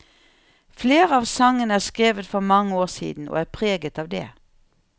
Flere av sangene er skrevet for mange år siden, og er preget av det.